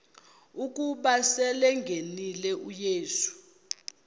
ukuba selengenile uyesu